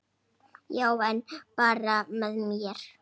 Já, en bara með mér.